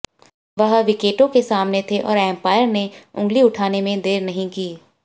वह विकेटों के सामने थे और अंपायर ने उंगली उठाने में देर नहीं की